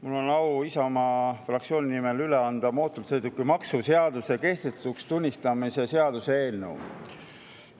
Mul on au Isamaa fraktsiooni nimel üle anda mootorsõidukimaksu seaduse kehtetuks tunnistamise seaduse eelnõu.